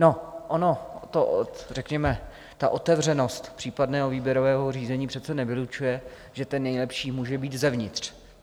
No ono to, řekněme, ta otevřenost případného výběrového řízení přece nevylučuje, že ten nejlepší může být zevnitř.